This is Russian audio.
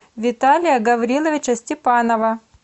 виталия гавриловича степанова